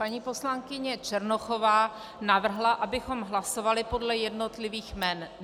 Paní poslankyně Černochová navrhla, abychom hlasovali podle jednotlivých jmen.